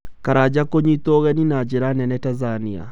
Karanja kũnyitwo ũgeni na njira nene Tanzania